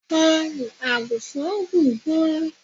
Ọrùn àgùnfọn gùn gan.